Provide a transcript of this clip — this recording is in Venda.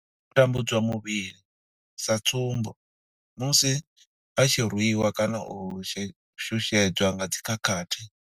U tambudzwa muvhili, sa tsumbo, musi vha tshi rwiwa kana u shushedzwa nga dzi khakhathi.